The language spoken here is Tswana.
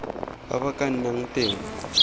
ba ba ka nnang teng